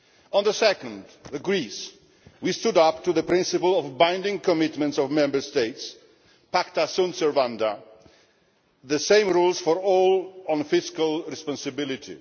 On the second, Greece we stood up to the principle of binding commitments of Member States, pacta sunt servanda the same rules for all on fiscal responsibility.